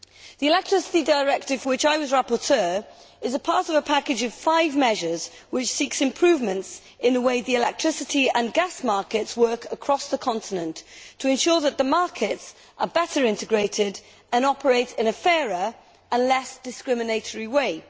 The Electricity Directive, for which I was rapporteur, is part of a package of five measures which seeks improvements in the way the electricity and gas markets work across the continent, to ensure that the markets are better integrated and operate in a fairer and less discriminatory way.